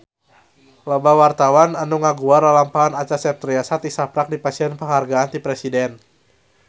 Loba wartawan anu ngaguar lalampahan Acha Septriasa tisaprak dipasihan panghargaan ti Presiden